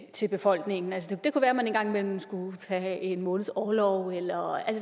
til befolkningen det kunne være man en gang imellem skulle tage en måneds orlov eller